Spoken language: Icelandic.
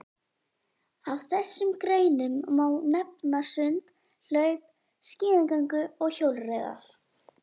Af þessum greinum má nefna sund, hlaup, skíðagöngu og hjólreiðar.